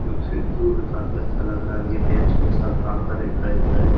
ये खिड़कियों पर काफी अच्छा लग रहा है। ये बेंच पर सब काम कर रहे हैं खड़े खड़े।